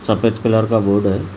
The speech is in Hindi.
सफेद कलर का बोर्ड है ।